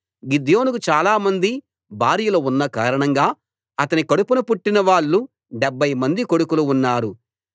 గిద్యోనుకు చాలామంది భార్యలు ఉన్న కారణంగా అతని కడుపున పుట్టినవాళ్ళు డెబ్భై మంది కొడుకులు ఉన్నారు